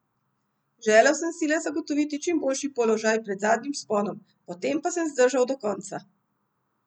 Želel sem si le zagotoviti čim boljši položaj pred zadnjim vzponom, potem pa sem zdržal do konca.